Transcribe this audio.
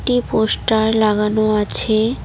এই পোস্টার লাগানো আছে।